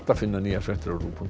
finna nýjar fréttir á rúv punktur